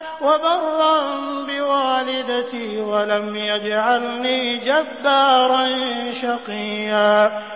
وَبَرًّا بِوَالِدَتِي وَلَمْ يَجْعَلْنِي جَبَّارًا شَقِيًّا